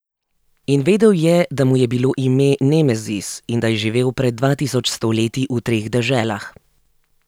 In vedel je, da mu je bilo ime Nemezis in da je živel pred dva tisoč sto leti v treh deželah.